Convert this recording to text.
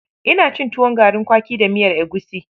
Ina cin tuwon garin kwaki da miyar egushi.